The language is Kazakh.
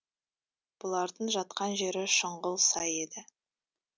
бұлардың жатқан жері шұңғыл сай еді